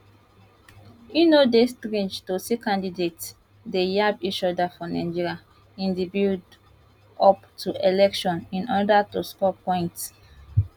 e no dey strange to see candidates dey yab each oda for nigeria in di build up to election in oda to score points